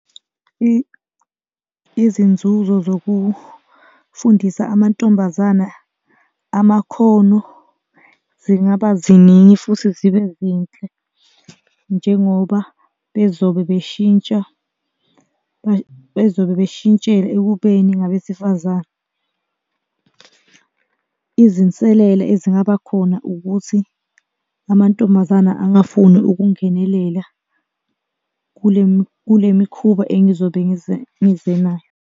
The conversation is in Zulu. Izinzuzo zokufundisa amantombazana amakhono zingaba ziningi futhi zibe zinhle njengoba bezobe beshintsha bezobe beshintshela ekubeni ngabesifazane. Izinselele ezingaba khona ukuthi amantombazana angafuni ukungenelela kule mikhuba engizobe ngize ngize nayo.